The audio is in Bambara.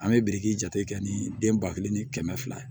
An bɛ biriki jateminɛ kɛ ni den ba kelen ni kɛmɛ fila